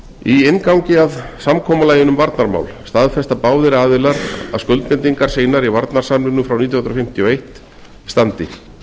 í inngangi að samkomulaginu um varnarmál staðfesta báðir aðilar að skuldbindingar sínar í varnarsamningnum frá nítján hundruð fimmtíu og eitt standi